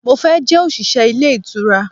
mo fe je osise ile itura